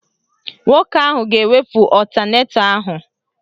Nwoke ahụ ga-ewepụ ọtanetọ ahụ